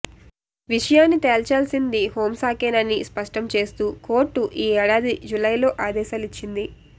విషయాన్ని తేల్చాల్సింది హోంశాఖేనని స్పష్టం చేస్తూ కోర్టు ఈ ఏడాది జులైలో ఆదేశాలిచ్చింది